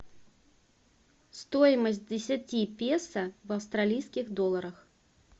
стоимость десяти песо в австралийских долларах